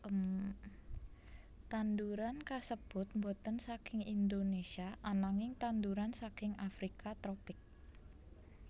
Tanduran kasébut boten saking Indonesia ananging tanduran saking Afrika tropik